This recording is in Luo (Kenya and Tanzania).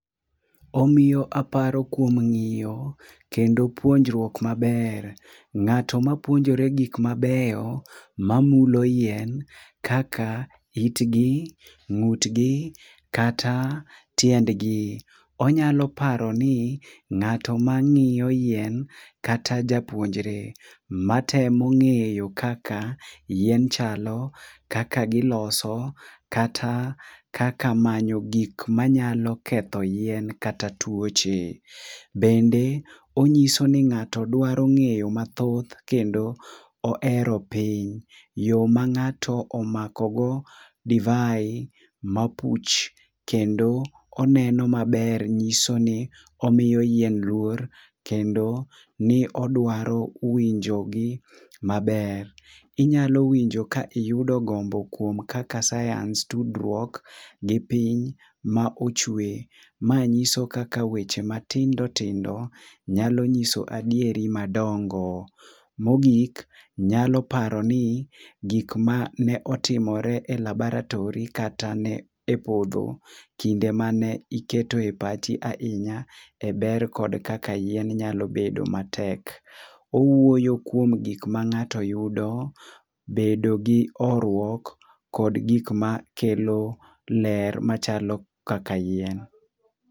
Omiyo aparo kuom ng'iyo kendo puonjruok maber. Ng'ato mapuonjore gik mabeyo mamulo yien kaka itgi, ng'utgi kata tiendgi. Onyalo paro ni ng'ato mang'iyo yien kata japuonjre matemo ng'eyo kaka yien chalo kaka giloso kata kaka manyo gik manyalo ketho yien kata tuoche. Bende nonyiso ni ng'ato dwaro ng'eyo mathoth kendo ohero piny. Yo ma ng'ato omako go divai mapuch kendo oneno maber nyiso ni omiyo yien luor kendo ni odwaro winjogi maber. Inyalo winjo ka iyudo gombo kuom kaka science tudruok gi piny ma ochwe. Ma nyiso kaka weche matindo tindo nyalo nyiso adieri madongo. Mogik, nyalo paro ni gik mane otimore e labaratory kata ne podho kinde mane iketo epachi ahinya eber kod kaka yien nyalo bedo matek. Owuoyo kuom gik mang'ato yudo, bedo gi horuok kod gik ma kelo ler machalo kaka yien.